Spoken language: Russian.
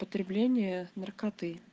потребление наркоты